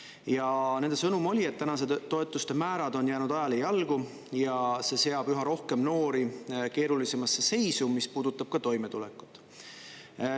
Ja nende sõnum oli, et tänased toetuste määrad on jäänud ajale jalgu ja see seab üha rohkem noori keerulisemasse seisu, mis puudutab ka toimetulekut.